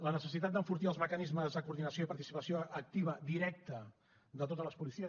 la necessitat d’enfortir els mecanismes de coordinació i participació activa directa de totes les policies